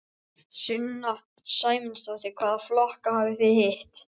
Sunna Sæmundsdóttir: Hvaða flokka hafið þið hitt?